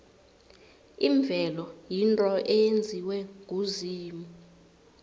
imvelo yinto eyenziwe nguzimu